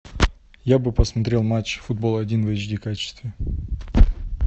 я бы посмотрел матч футбол один в эйч ди качестве